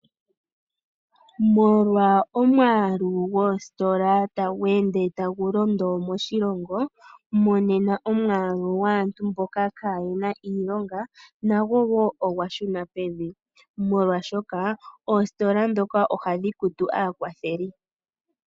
Molwa omwaalu goositola tagu ende tagu londo moshilongo monena omwaalu gwaantu mboka kaayena iilonga nago woo ogwa shuna pevi molwaashoka oositola dhoka ohadhi kutu aakwatheli.